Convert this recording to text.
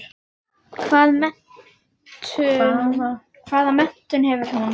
Hvaða menntun hefur hún?